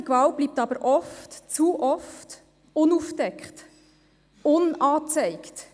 Häusliche Gewalt bleibt aber oft – zu oft – unaufgedeckt, unangezeigt.